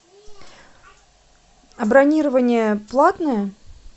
а бронирование платное